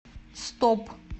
стоп